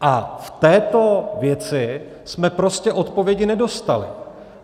A v této věci jsme prostě odpovědi nedostali.